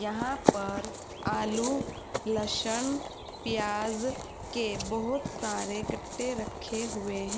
यहां पर आलू लस्सन प्याज के बहोत सारे गट्टे रखे हुए हैं।